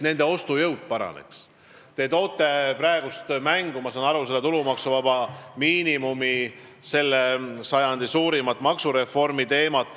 Ma saan aru, et te toote praegu mängu tulumaksuvaba miinimumi, selle sajandi suurima maksureformi teema.